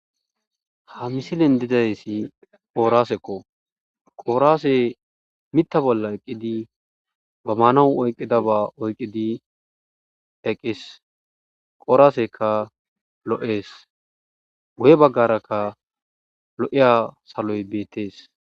Ha misilin dizayssi qooraasekko qooraase mitta bolla eqqidi ba maanawu oyqqida ba oyqqidi eqqis qooraaseka lo'ees goye baggarakka lo'eya saloy beettees.